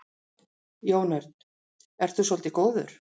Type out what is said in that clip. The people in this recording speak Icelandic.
Jón Örn: Ert þú svolítið góður?